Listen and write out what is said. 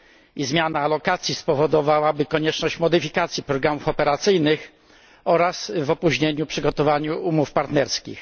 i zmiana alokacji spowodowałaby konieczność modyfikacji programów operacyjnych oraz opóźnienia w przygotowaniu umów partnerskich.